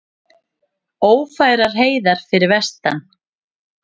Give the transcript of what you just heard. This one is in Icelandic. Ófærar heiðar fyrir vestan